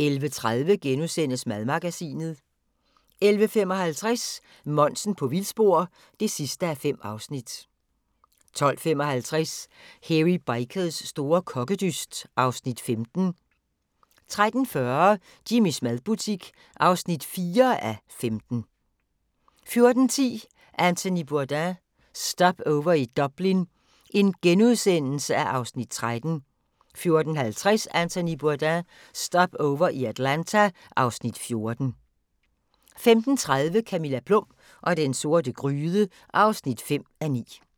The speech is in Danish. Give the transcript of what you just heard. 11:30: Madmagasinet * 11:55: Monsen på vildspor (5:5) 12:55: Hairy Bikers store kokkedyst (Afs. 15) 13:40: Jimmys madfabrik (4:15) 14:10: Anthony Bourdain - Stopover i Dublin (Afs. 13)* 14:50: Anthony Bourdain – Stopover i Atlanta (Afs. 14) 15:30: Camilla Plum og den sorte gryde (5:9)